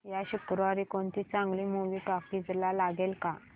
या शुक्रवारी कोणती चांगली मूवी टॉकीझ ला लागेल का